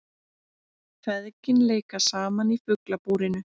Feðgin leika saman í Fuglabúrinu